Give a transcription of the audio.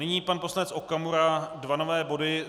Nyní pan poslanec Okamura, dva nové body.